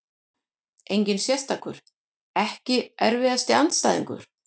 Engin sérstakur EKKI erfiðasti andstæðingur?